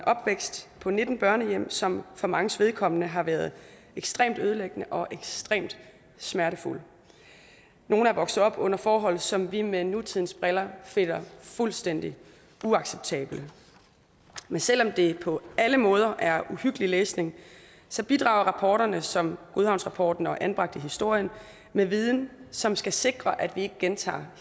opvækst på nitten børnehjem som for manges vedkommende har været ekstremt ødelæggende og ekstremt smertefuld nogle er vokset op under forhold som vi set med nutidens briller finder fuldstændig uacceptable men selv om det på alle måder er uhyggelig læsning bidrager rapporter som godhavnsrapporten og anbragt i historien med en viden som skal sikre at vi ikke gentager